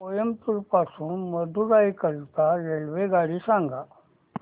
कोइंबतूर पासून मदुराई करीता रेल्वेगाडी सांगा